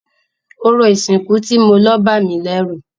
Orò ìsìnkú tí mo lọ bámìlẹ́rù.